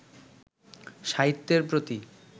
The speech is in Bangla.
সাহিত্যের প্রতি